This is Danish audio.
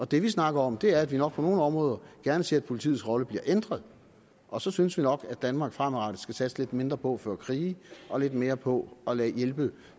det vi snakker om er at vi nok på nogle områder gerne ser at politiets rolle bliver ændret og så synes vi nok at danmark fremadrettet skal satse lidt mindre på at føre krige og lidt mere på at hjælpe